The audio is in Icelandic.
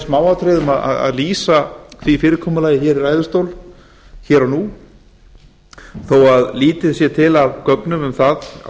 í smáatriðum að lýsa því fyrirkomulagi hér og nú þó að lítið sé til af gögnum um það á